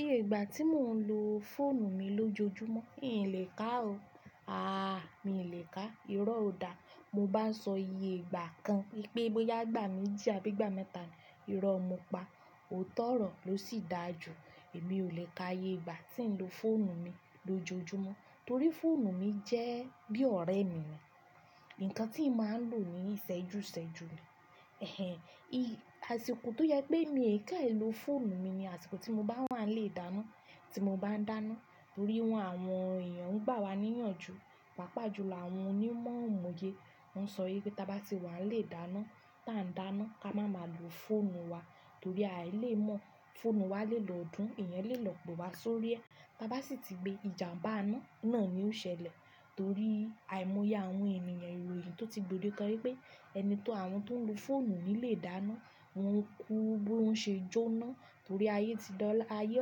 Iye ìgbà tí mò ń lo fóònù mi lójoojúmọ́, ìn lè ká o. Aà mi lè ká, irọ́ ó dá. Mo bá sọ iye ìgbà kan, pé bóyá ìgbà méjì àbí ìgbà mẹ́ta ni, irọ́ mo pa. Ootọ ọ̀rọ̀ ló sì dáa jù. Èmi ò lè ka iye ìgbà tí ń lo fóònù mi lójoojúmọ́ torí fóònù mi jẹ́ bí ọ̀rẹ́ mi ni. Ǹkan tí mà ń lò ní sẹ́jú sẹ́jú ni. Ẹ̀hẹn, i-- àsìkò tó jẹ pé mí fẹ ì lo fóònù mi ni àsìkò tí mo bá wà nílé ìdáná, tí mo bá ń dáná. Torí wọn àwọn èèyàn ń gbà wá níyànjú, pàápàá jùlọ àwọn onímọ̀ ìmòye. Wọ́n sọ wipé táa bá ti wà nílé ìdáná, táa ń dáná ta ka má má lò fóònù wa torí ai lè mọ̀, fóònù wa lè lọ dún, ẹ̀yàn lè lọ pe wa sórí ẹ́. Táa bá sì ti gbé ìjàmbá iná, òun na ni ó ṣẹlẹ̀ torí àìmọ́ye àwọn ènìyàn ìròyìn tó ti gbòdekan wípé ẹni tó àwọn tó ń lo fóònù nílé ìdáná, wọn kú bó ń ṣe jó'ná torí ayé ti dọ̀lá, ayé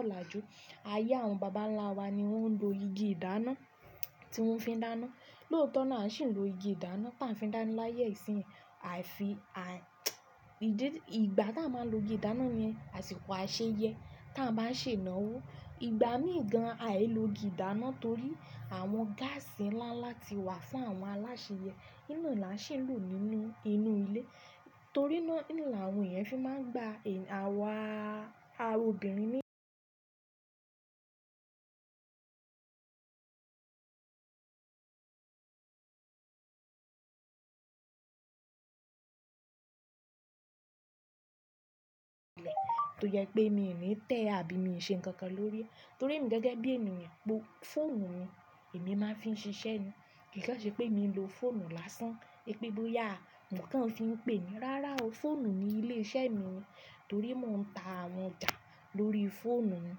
ọ̀làjú. Ayé àwọn bàbá ńlá wa ni wọ́n ń lo igi ìdáná tí wọ́n fi ń dáná. Lóòótọ́ na a ṣì ń lo igi ìdáná táa ń fi dáná láyé ìsín yìí. A fi a-- ìdí-- ìgbà táa máa ń lo igi ìdáná ni àsìkò àṣeyẹ́ táa bá ń sè náwó. Ìgbà mi gan ai lo igi ìdáná torí àwọn gáàsì ńláńlá ti wà fún àwọn aláṣeyẹ́. Iná làá sì ń lò nínú inú ilé. Torí náà l'awọn èèyàn fi máa ń gbà ẹ̀-- àwa, àwa obìnrin ní tó jẹ pé mí ò ní tẹ́ àbí mi ṣe nǹkan kan lórí ẹ́ torí èmi gẹ́gẹ́ bí ènìyàn, fóònù mi èmi máa ń fi ṣiṣẹ́ ni. Kì í kan ṣe pé mi ń lo fóònù lásán, pé bóyá ǹkan fi ń pè é. Rárá o, fóònù mi ilé iṣẹ́ mi ni torí mò ń ta àwọn ọjà lórí fóònù mi.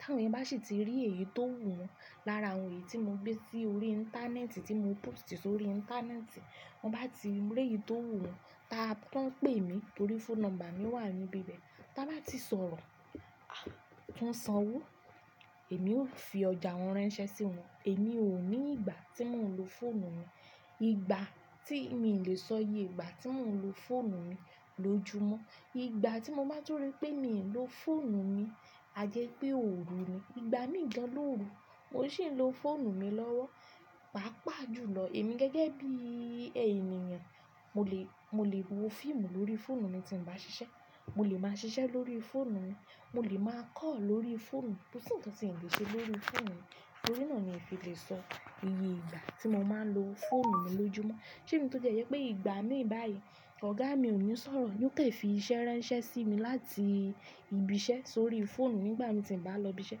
Táwọn èèyàn bá sì ti rí èyí tó wù wọn lára ohun èyí tí mo gbé sí orí íńtánẹ́ẹ̀tì, tí mo pósìtì sórí íńtánẹ́ẹ̀tì, t'an bá ti rí èyí tó wù wọn, táa p-- t'an pè mí torí fóònù nọ́mbà mi wà níbí ibẹ̀, táa bá ti sọ̀rọ̀, a! T'an sanwó, èmi ó fi ọjà wọn ránṣẹ́ sí wọn. Èmi ò ní ìgbà tí mò ń lo fóònù mi. Ìgbà tí mí lè sọ iye ìgbà tí mò ń lo fóònù mi lójoojúmọ́. Ìgbà tí mo bá tun rí pé mí ò lo fóònù mi, a jẹ́ pé ò ru ni. Ìgbà mi gan l'óru, mò sì ń lo fóònù mi lọ́wọ́, pàápàá jùlọ. Èmi gẹ́gẹ́ bí i ènìyàn, mo lè, mo lè wo fíìmù lórí fóònù mi tí ń bá ṣiṣẹ́. Mo lè máa ṣiṣẹ́ lórí fóònù mi, mo lè máa call lórí fóònù mi. Kò sí nǹkan tí mi o le ṣe lórí fóònù mi. Torí náà ni mi n fi lè sọ iye ìgbà tí mo máa ń lo fóònù mi lójoojúmọ́. Ṣé èmi tó ti ẹ jẹ́ pé ìgbà míì báyìí ọ̀gá mi ò ní sọ̀rọ̀, yóò kan fi iṣẹ́ ránṣẹ́ sí mi láti ibi iṣẹ́ sórí fóònù nígbà mi tí m bá lọ ibi iṣẹ́?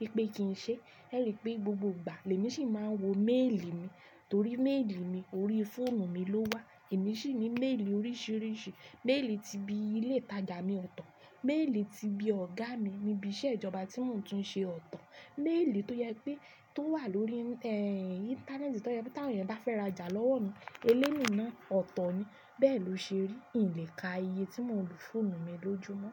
Wipe kì n ṣe. Ẹ ri pé gbogbo ìgbà l'èmi sì máa ń wo méèlì mi torí méèlì mi orí fóònù mi ló wà. Èmi ṣì ní méèlì oríṣìíríṣìí. Méèlì ti ibi ilé ìtajà mi ọ̀tọ̀, méèlì ti ibi ọ̀gá mi ní ibi iṣẹ́ ìjọba tí wọ́n tún ń ṣe ọ̀tọ̀, méèlì tó jẹ pé tó wà lórí, ẹ́ n, íńtánẹ́ẹ̀tì tó jẹ pé tí àwọn èèyàn bá fẹ́ rajà lọ́wọ́ mi, eléyun náà ọ̀tọ̀ ni. Bẹ́ẹ̀ ló ṣe rí. Ì n lè ka iye tí mò ń lo fóònù mi lójoojúmọ́.